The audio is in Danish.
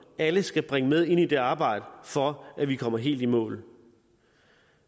alle skal bringe med ind i det arbejde for at vi kommer helt i mål